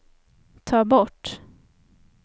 ta bort